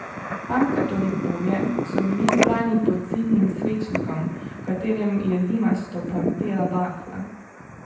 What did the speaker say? Pankrtovi pobje so bili zbrani pod zidnim svečnikom, v katerem je dimasto plamtela bakla.